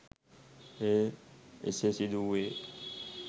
එය එසේ සිදු වූයේ